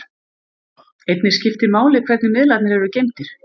Einnig skiptir máli hvernig miðlarnir eru geymdir.